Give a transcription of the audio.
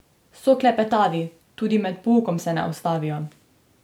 So klepetavi, tudi med poukom se ne ustavijo.